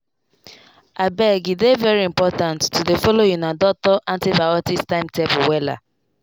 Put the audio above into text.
abege dey very important to dey follow una doctor antibiotics timetable wella.